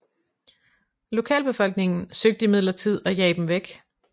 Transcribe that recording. Lokalbefolkningen søgte imidlertid at jage dem væk